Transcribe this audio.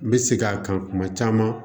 N bɛ segin a kan kuma caman